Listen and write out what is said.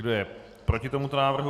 Kdo je proti tomuto návrhu?